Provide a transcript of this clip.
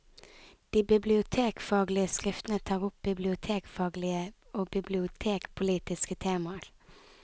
De bibliotekfaglige skriftene tar opp bibliotekfaglige og bibliotekpolitiske temaer.